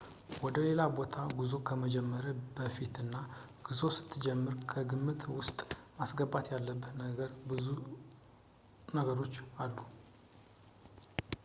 ወደሌላ ቦታ ጉዞ ከመጀመርህ በፊትና ጉዞ ስትጀምርም ከግምት ውስጥ ማስገባት ያለብህ ብዙ ነገሮች አሉ